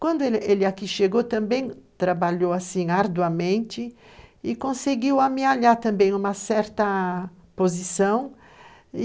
Quando ele ele aqui chegou, também trabalhou arduamente e conseguiu amealhar também uma certa posição.